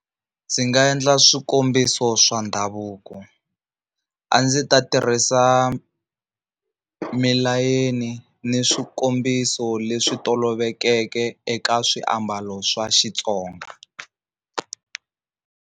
Ndzi nga endla swikombiso swa ndhavuko a ndzi ta tirhisa milayeni ni swikombiso leswi tolovelekeke eka swiambalo swa Xitsonga.